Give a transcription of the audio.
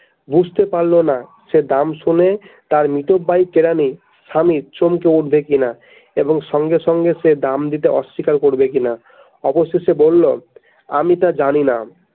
বুঝতে পারলো না সে দাম শুনে তাঁর মিতব্যয়ী কেরানি স্বামী চমকে উঠবে কিনা এবং সঙ্গে সঙ্গে সে দাম দিতে অস্বীকার করবে কিনা অবশেষে বলল আমি তা জানি না।